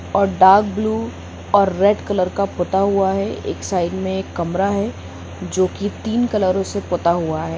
और dark blue और red colour का पुता हुआ है एक साइड में एक कमरा है जो की तीन रंगों से पुता हुआ है।